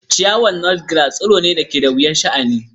Ciyawar Nutgrass tsiro ne da ke da wahalar sha'ani.